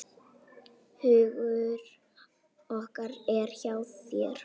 Hugur okkar er hjá þér.